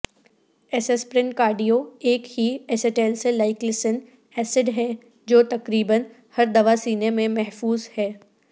aspirin cardio ایک ہی acetylsalicylic acid ہے جو تقریبا ہر دوا سینے میں محفوظ ہے